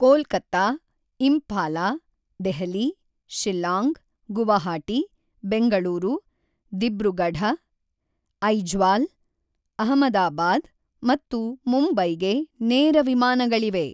ಕೋಲ್ಕತಾ, ಇಂಫಾಲ, ದೆಹಲಿ, ಶಿಲ್ಲಾಂಗ್, ಗುವಾಹಟಿ, ಬೆಂಗಳೂರು, ದಿಬ್ರುಗಢ, ಐಝ್ವಾಲ್, ಅಹಮದಾಬಾದ್ ಮತ್ತು ಮುಂಬೈಗೆ ನೇರ ವಿಮಾನಗಳಿವೆ.